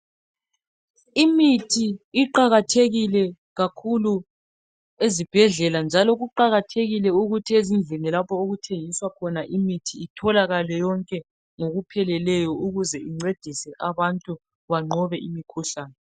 Imithi iqakathekile kakhulu ezibhedlela njalo kayitholakale ngokupheleleyo lapho ethengiswa khona ukuze incedise abantu banqobe imikhuhlane.